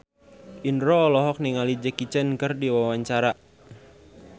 Indro olohok ningali Jackie Chan keur diwawancara